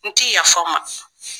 N ti yafa aw ma.